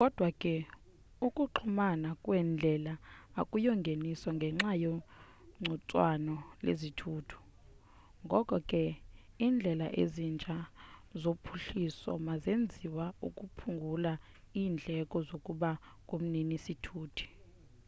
kodwa ke ukuxhumana kweendlela akuyongeniso ngenxa yegcuntswana lezithuthi ngoko ke indlela ezintsha zophuhliso mazenziwe ukuphungula indleko zokuba ngumnini sithuti